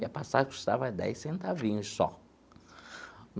E a passagem custava dez centavinhos só.